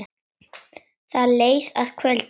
Það leið að kvöldi.